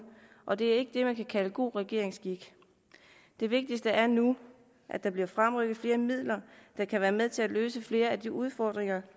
og det er ikke det man kan kalde god regeringsskik det vigtigste er nu at der bliver fremrykket flere midler der kan være med til at løse flere af de udfordringer